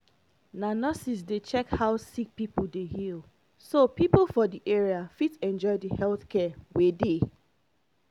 na nurses dey check how sick pipo dey heal so pipo for the area fit enjoy the health care wey dey.